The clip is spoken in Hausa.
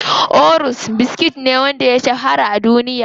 Oreos biskit ne wanda ya shahara a duniya.